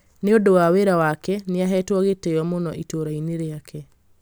nĩ ũndũ wa wĩra wake nĩ aheetwo gĩtĩo mũno itũũrainĩ rĩake